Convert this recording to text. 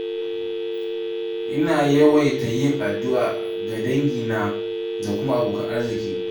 Ina yawaita yin addu’a ga dangina da kuma abokan arziƙi.